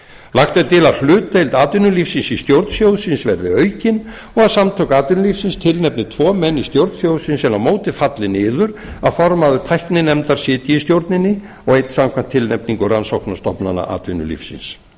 lagt er til að hlutdeild atvinnulífsins í stjórn sjóðsins verði aukin og að samtök atvinnulífsins tilnefni tvo menn í stjórn sjóðsins en á móti falli niður að formaður tækninefndar sitji í stjórninni og einn samkvæmt tilnefningu rannsóknastofnana atvinnvinnulífsins